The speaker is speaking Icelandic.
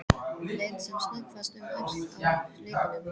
Leit sem snöggvast um öxl á hlaupunum.